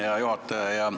Hea juhataja!